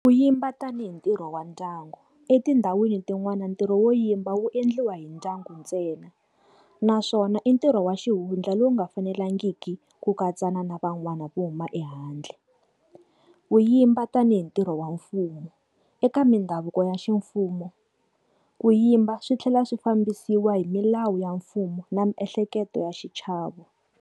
Ku yimba tanihi ntirho wa ndyangu. Etindhawini tin'wana na ntirho wo yimba wu endliwa hi ndyangu ntsena naswona i ntirho wa xihundla lowu nga fanelangiki ku katsana na van'wana vo huma ehandle. Ku yimba tanihi ntirho wa mfumo. Eka mindhavuko ya ximfumo, ku yimba swi tlhela swi fambisiwa hi milawu ya mfumo na miehleketo ya xichavo.